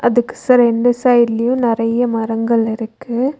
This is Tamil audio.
அதுக்கு ச ரெண்டு சைட்லயும் நெறைய மரங்கள் இருக்கு.